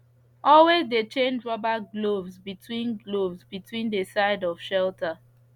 always de change rubber gloves between gloves between de side of shelter